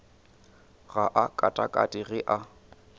ga a katakate ge a